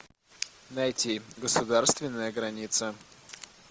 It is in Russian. найти государственная граница